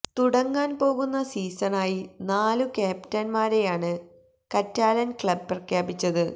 തുടങ്ങാന് പോകുന്ന സീസണായി നാലു ക്യാപ്റ്റന്മാരെയാണ് കറ്റാലന് ക്ലബ് പ്രഖ്യാപിച്ചത്